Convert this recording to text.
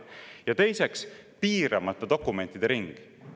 Ja teiseks, piiramata dokumentide ring.